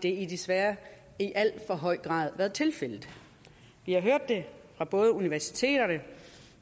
desværre i alt for høj grad været tilfældet vi har hørt det fra både universiteterne